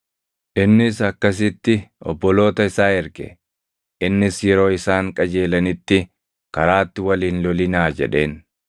Innis akkasitti obboloota isaa erge; innis yeroo isaan qajeelanitti, “Karaatti wal hin lolinaa!” jedheen.